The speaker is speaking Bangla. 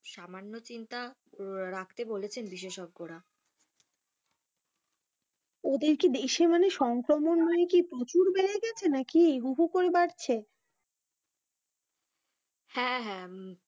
সামান্য চিন্তা রাখতে বলেছেন বিশেষজ্ঞরা। ওদের কি দেশে মানে সংক্রমণ মানে কি প্রচুর বেড়ে গেছে নাকি, হু হু করে বাড়ছে? হ্যাঁ হ্যাঁ,